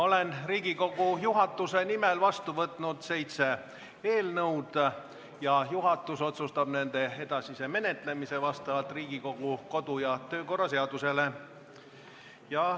Olen Riigikogu juhatuse nimel vastu võtnud seitse eelnõu ja juhatus otsustab nende edasise menetlemise vastavalt Riigikogu kodu- ja töökorra seadusele.